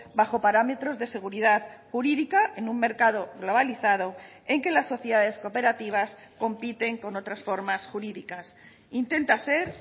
bajo parámetros de seguridad jurídica en un mercado globalizado en que las sociedades cooperativas compiten con otras formas jurídicas intenta ser